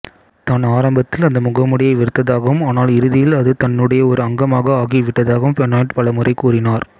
தான் ஆரம்பத்தில் அந்த முகமூடியை வெறுத்ததாகவும் ஆனால் இறுதியில் அது தன்னுடைய ஒரு அங்கமாக ஆகிவிட்டதாகவும் பெனாய்ட் பலமுறை கூறினார்